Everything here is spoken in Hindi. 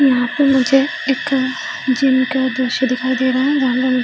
यहाँ पे मुझे एक जिम का दृश्य दिखाई दे रहा है जहाँ पे मुझे--